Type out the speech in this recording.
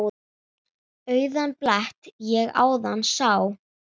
Auðan blett ég áðan sá.